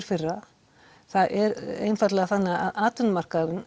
firra það er einfaldlega þannig að atvinnumarkaðurinn